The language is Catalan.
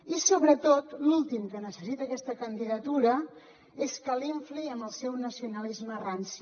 i sobretot l’últim que necessita aquesta candidatura és que l’infli amb el seu nacionalisme ranci